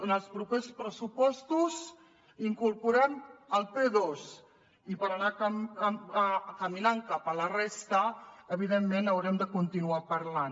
en els propers pressupostos incorporem el p2 i per anar caminant cap a la resta evidentment n’haurem de continuar parlant